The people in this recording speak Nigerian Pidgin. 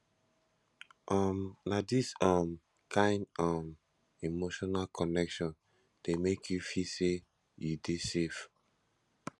um na dis um kain um emotional connection dey make you feel sey you dey safe